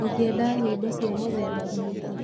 ũngĩenda nyĩmbo cia mũthemba ũrĩkũ?